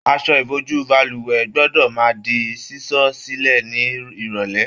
Aṣọ ìbojú balùwẹ̀ gbọdọ máa di sísọ silẹ ni irọlẹ.